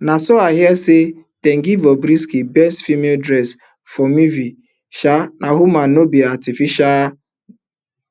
na so i hear say dem give bobrisky best female dressed for movie sha na woman no be artificial